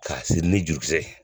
K'a siri ni jurukisɛ ye